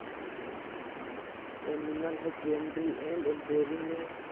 animal husbandry and dairying में